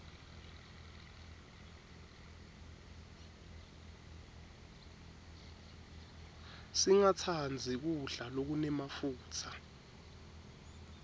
singatsandzi kudla lokunemafutsa